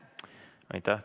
Aitäh!